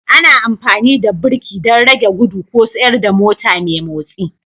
Ana amfani da birki don rage gudu ko tsayar da mota mai motsi